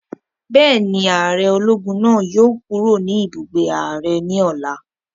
Bẹ́ẹ̀ni, ààrẹ ológun náà yóò kúrò ní ibùgbé ààrẹ ní ọ̀la